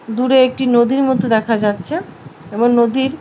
দূরে একটি নদীর মতো দেখা যাচ্ছে এবং নদীর --